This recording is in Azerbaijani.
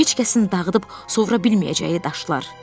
Heç kəsin dağıdıb sovura bilməyəcəyi daşlar.